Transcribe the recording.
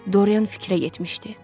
Doryan fikrə getmişdi.